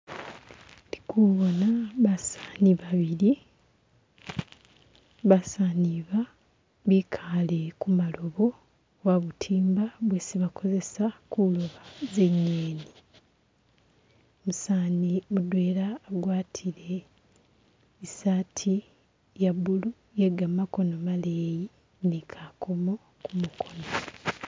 ndi kubona basani babili basaniba bikale kumalobo oba butimba bwesi bakozesa kuloba zinyeni umusani mudwela agwatile isati yabulu yegamakono maleyi nikakomo kumukono